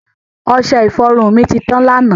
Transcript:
Ọṣẹ-ifọrun mi ti tan lánà.